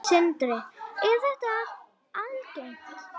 Sindri: Er þetta algengt?